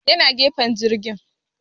Ya na gefen jirgin